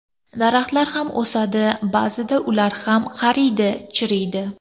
Daraxtlar ham o‘sadi, ba’zida ular ham qariydi, chiriydi.